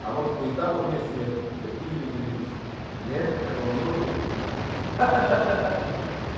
а может по этапу вместе ехали да книгами делились не такого не может быть ха-ха